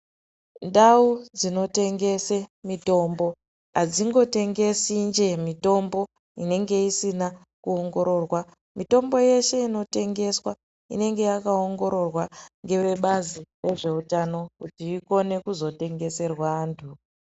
Ndau dzinotengese mitombo adzingotengesi njee mitombo inenge isina kuongororwa, mitombo yeshe inotengeswa inenge yakaongororwa ngevebazi rezveutano kuti ikone kuzotengeserwa antu.